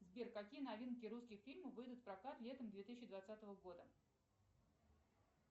сбер какие новинки русских фильмов выйдут в прокат летом две тысячи двадцатого года